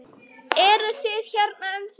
Eruð þið hérna ennþá?